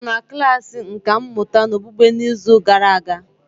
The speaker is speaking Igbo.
Ị nọ na klasị nkà mmụta okpukpe n'izu gara aga?